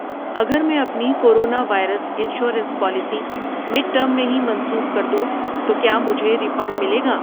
اگر میں اپنی corona virus insurance policy mid term میں ہی منسوخ کردوں تو کیا مجھے ریفنڈ ملےگا؟